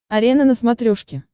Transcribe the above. арена на смотрешке